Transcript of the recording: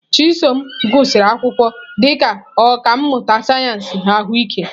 Chisom gụsịrị akwụkwọ dị ka ọkà mmụta sayensị ahụike.